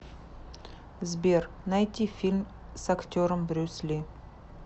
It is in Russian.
сбер найти фильм с актером брюс ли